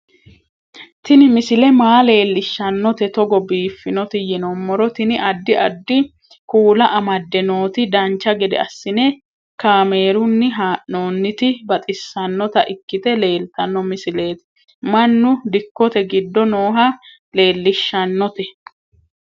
Tini misile maa leellishshannote togo biiffinoti yinummoro tini. addi addi kuula amadde nooti dancha gede assine kaamerunni haa'noonniti baxissannota ikkite leeltanno misileeti mannu dikkote giddo nooha leellishshshannote